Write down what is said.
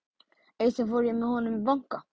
Eitt sinn fór ég með honum í banka.